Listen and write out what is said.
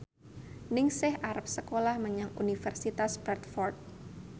Ningsih arep sekolah menyang Universitas Bradford